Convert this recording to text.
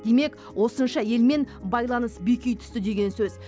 демек осынша елмен байланыс беки түсті деген сөз